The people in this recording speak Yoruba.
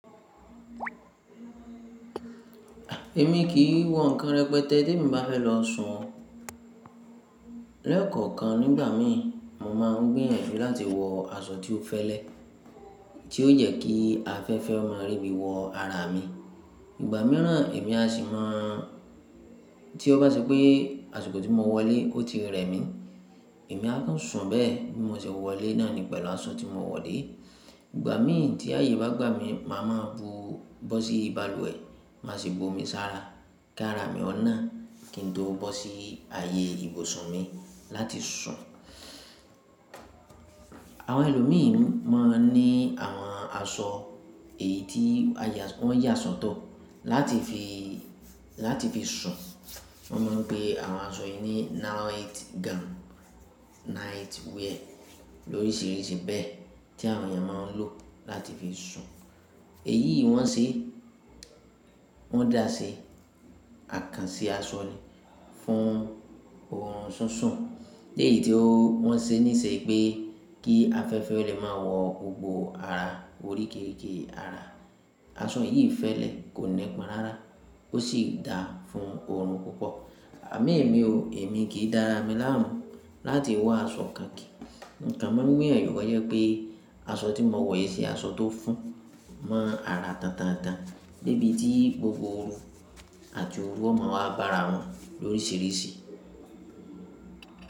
Èmi kì í wọ nǹkan rẹpẹtẹ tí èmi bá fẹ́ lọ sun o. Lẹ́ẹ̀kọ̀kan nígbà mi, mo máa ń gbiyanju láti wọ aṣọ tí ó fẹ́lẹ́, tí ó jẹ kí afẹ́fẹ́ o mo rí bí wọ ara mi. Ìgbà mìíràn èmi a sì máa ń tí ó bá ṣe pé aṣọ tó ti mo wọ ilé o ti rẹ mí, èmi á kàn sun bẹ́ẹ̀ bí mo ṣe wọ ilé náà ní pẹ̀lú aṣọ tí mo wọ dé. Ìgbà mi tí ayé bá gbà mí, màá ma bú bọ́ sí balùwẹ̀, má sì bu omi sára kara mi ọ́nà kí n tó bọ́ sí ayé ibùsùn mi láti sun. Àwọn ẹlòmíìn n mo ní àwọn aṣọ èyí tí aya wọ́n yà sotọ́ láti fi, láti fi sun. Wọ́n máa ń pe àwọn aṣọ yìí ní night gown, night wear, lórisìíríṣìí bẹ́ẹ̀ tí àwọn èèyàn máa ń lò láti fi sun. Èyí wọ́n ṣe, wọ́n dá ṣe àkànṣe aṣọ ni fún oorun sunsun. Èyí tí o wọ́n ṣe níṣe pé kí afẹ́fẹ́ o lè mo wọ gbogbo ara orííkerike ara. Aṣọ yìí fẹ́lẹ́, kò nípọn rárá ó sì da fún oorun púpọ̀. Àmoẹ̀mì o, èmi kì í dára mi láàmú láti wa aṣọ kan kíi. Tamo mirin to je pé aṣọ tí mo wọ yìí sì aṣọ tó fún mọ́ ara tantantan debi tí gbogbo ooru àti ooru ọ́ máa wá baara wọn lórisìíríṣìí.